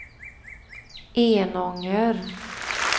Enånger